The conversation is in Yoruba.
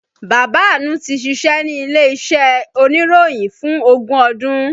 Bàbá Àánú tí ṣíṣe ní ilé iṣẹ́ oníròyìn fún ogún ọdún